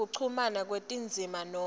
kuchumana kwetindzima noma